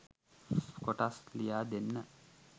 කොටස්‌ ලියා දෙන්න